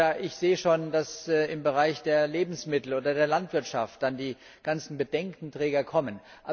Oder ich sehe schon, dass im Bereich der Lebensmittel oder der Landwirtschaft dann die ganzen Bedenkenträger kommen.